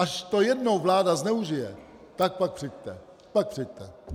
Až to jednou vláda zneužije, tak pak přijďte.